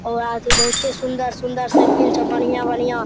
और बहुते सुन्दर-सुन्दर साइकिल छो बढ़िया-बढ़िया।